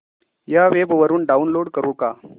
या वेब वरुन डाऊनलोड करू का